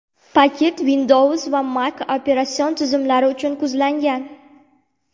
Paket Windows va Mac operatsion tizimlari uchun ko‘zlangan.